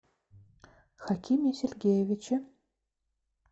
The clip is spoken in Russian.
хакиме сергеевиче